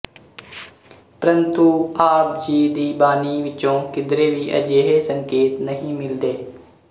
ਪਰੰਤੂ ਆਪ ਜੀ ਦੀ ਬਾਣੀ ਵਿਚੋਂ ਕਿਧਰੇ ਵੀ ਅਜਿਹੇ ਸੰਕੇਤ ਨਹੀਂ ਮਿਲਦੇ